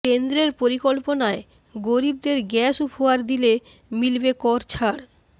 কেন্দ্রের পরিকল্পনায় গরীবদের গ্যাস উপহার দিলে মিলবে কর ছাড়